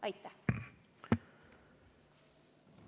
Aitäh!